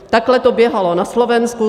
Takhle to běhalo na Slovensku.